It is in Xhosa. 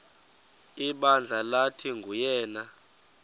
ibandla lathi nguyena